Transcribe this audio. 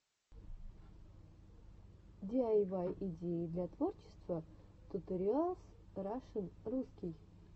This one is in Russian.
диайвай идеи для творчества туториалс рашн русский